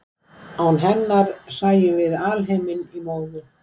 Án hennar sæjum við alheiminn í móðu.